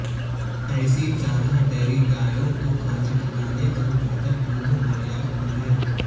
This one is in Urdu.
ایسی چارہ ڈیری گایوں کو کھانا کھلانے جب بہتر دودھ معیار کی ہے